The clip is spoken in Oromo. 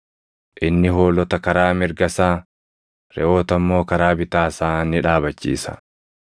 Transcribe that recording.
Inni hoolota karaa mirga isaa, reʼoota immoo karaa bitaa isaa ni dhaabachiisa.